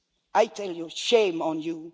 I say, shame on you!